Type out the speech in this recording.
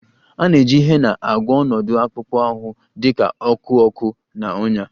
A na-eji Hena agwọ ọnọdụ akpụkpọ ahụ dị ka ọkụ ọkụ na ọnyá